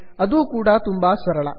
ಅದೂ ಕೂಡಾ ತುಂಬಾ ಸರಳ